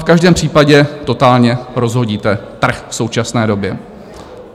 V každém případě totálně rozhodíte trh v současné době.